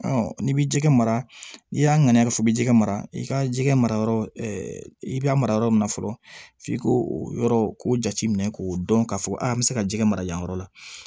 n'i bi jɛgɛ mara n'i y'a ŋaniya f'i bɛ jɛgɛ mara i ka jɛgɛ mara yɔrɔ i bɛ a mara yɔrɔ min na fɔlɔ f'i k'o o yɔrɔ k'o jate minɛ k'o dɔn k'a fɔ a an bɛ se ka jɛgɛ mara yan yɔrɔ la